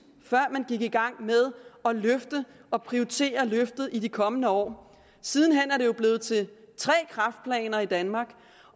før man gik i gang med at løfte og prioritere i de kommende år siden hen er det jo blevet til tre kræftplaner i danmark